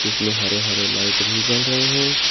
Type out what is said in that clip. इसमें हरे हरे लाइट भी जल रहे हैं।